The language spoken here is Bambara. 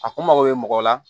A kun mako bɛ mɔgɔ la